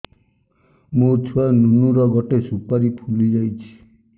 ମୋ ଛୁଆ ନୁନୁ ର ଗଟେ ସୁପାରୀ ଫୁଲି ଯାଇଛି